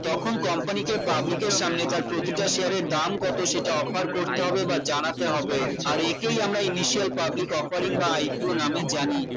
তখন company কে public এর সামনে তার প্রতিটা share এর দাম কত সেটা offer করতে হবে বা জানাতে হবে আর এটাই আমরা public offering বা ipo নামে জানি